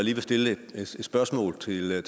ville